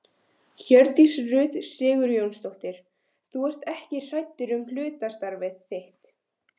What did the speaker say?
Hjördís Rut Sigurjónsdóttir: Þú ert ekkert hræddur um hlutastarfið þitt?